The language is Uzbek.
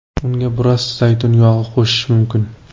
Unga biroz zaytun yog‘i qo‘shish mumkin.